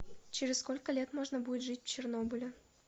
через сколько лет можно будет жить в чернобыле